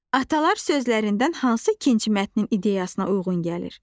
Atalar sözlərindən hansı ikinci mətnin ideyasına uyğun gəlir?